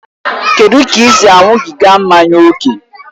Kedụ ka ị si aṅụbiga mmanya ókè?